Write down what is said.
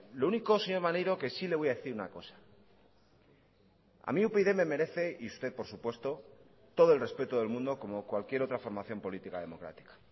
lo único señor maneiro que sí le voy a decir una cosa a mí upyd me merece y usted por supuesto todo el respeto del mundo como cualquier otra formación política democrática